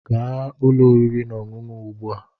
Gaa ụlọ oriri na ọṅụṅụ ugbu a!